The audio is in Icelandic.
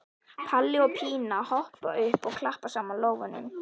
Palli og Pína hoppa upp og klappa saman lófunum.